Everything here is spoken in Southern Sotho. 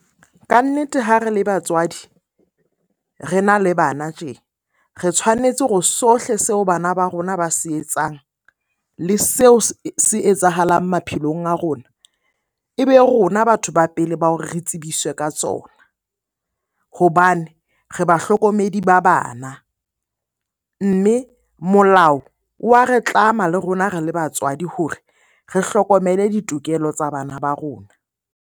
Ka nnete ha re le batswadi, re na le bana tje. Re tshwanetse hore sohle seo bana ba rona ba se etsang le seo se etsahalang maphelong a rona, e be rona batho ba pele ba hore re tsebiswe ka tsona. Hobane re bahlokomedi ba bana, mme molao wa re tlama le rona re le batswadi hore re hlokomele ditokelo tsa bana ba rona.